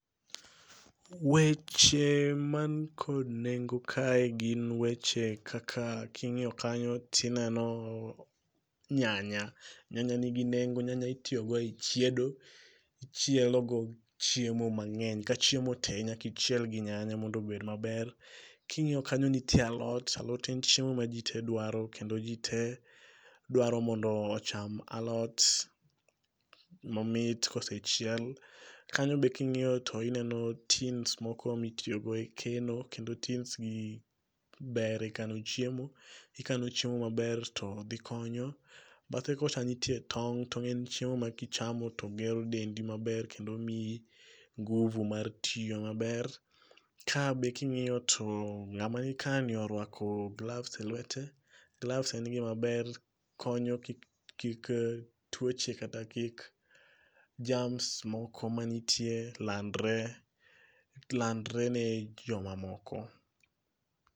Weche mankod nengo kae gin weche kaka king'iyo kanyo tineno nyanya, nyanya nigi nengo nyanya itiyogo e chiedo, ichielogo chiemo mang'eny ka chiemo te nyakichiel gi nyanya mondo obed maber. King'iyo kanyo nitie alot, alot en chiemo ma ji tee dwaro kendo ji tee dwaro mondo ocham alot momit kosechiel. Kanyo be king'iyo tineno tins moko mitiyogo e keno kendo tins gi ber e kano chiemo, ikano chiemo maber to dhi konyo. Badhe kocha nitie tong'. Tong' en chiemo ma kichamo to gero dendi maber kendo miyi nguvu mar tiyo maber. Ka be king'iyo to ng'ama nikani orwako gloves e lwete, gloves en gimaber konyo kik tuoche kata kik germs moko mantie landre ne jomamoko.